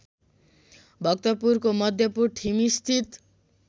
भक्तपुरको मध्यपुर ठिमीस्थित